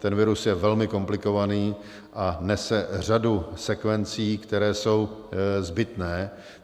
Ten virus je velmi komplikovaný a nese řadu sekvencí, které jsou zbytné.